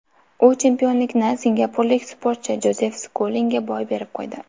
U chempionlikni singapurlik sportchi Jozef Skulinga boy berib qo‘ydi.